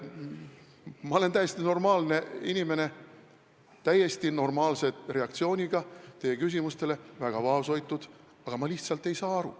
Ma olen täiesti normaalne inimene, mul on täiesti normaalne reaktsioon teie küsimustele, väga vaoshoitud, aga ma lihtsalt ei saa aru.